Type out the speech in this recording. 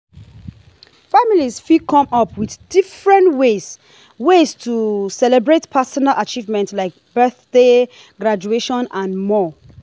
families fit come up with different ways ways to celebrate personal achievement like birthdays graduations and more